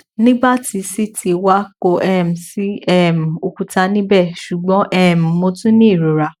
nigbati ct wa ko um si um okuta nibẹ ṣugbọn um mo tun ni irora